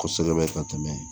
Kɔsɛbɛ ka tɛmɛ